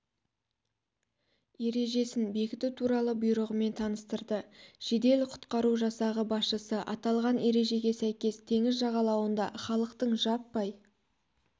ережесін бекіту туралы бұйрығымен таныстырды жедел-құтқару жасағы басшысы аталған ережеге сәйкес теңіз жағалауында халықтың жаппай